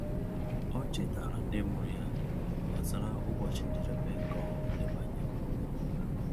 Ọ chetaara ndị mụrụ ya gbasara ụbọchị njedebe nke ọrụ ndebanye akwụkwọ.